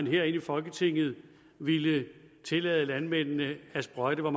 her i folketinget ville tillade landmændene at sprøjte og